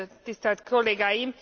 Tisztelt kollégáim!